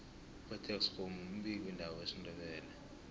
upetex kgomu mbiki ndaba wesindebele